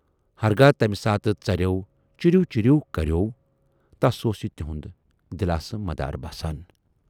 ہرگاہ تمہِ ساتہٕ ژرٮ۪و 'چیٖرِو چیٖرِو' کرٮ۪و، تس اوس یہِ تِہُند دِلاسہٕ مدارٕ باسان۔